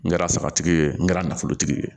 N kɛra sagatigi ye n kɛra nafolotigi ye